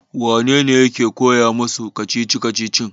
wanene yake koya musu kacici-kacicin?